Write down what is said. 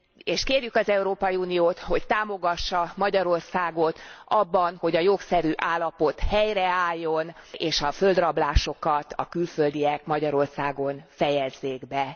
És kérjük az Európai Uniót, hogy támogassa Magyarországot abban, hogy a jogszerű állapot helyreálljon, és a földrablásokat a külföldiek Magyarországon fejezzék be.